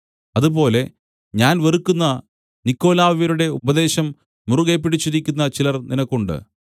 അതുപോലെ ഞാൻ വെറുക്കുന്ന നിക്കൊലാവ്യരുടെ ഉപദേശം മുറുകെപ്പിടിച്ചിരിക്കുന്ന ചിലർ നിനക്കും ഉണ്ട്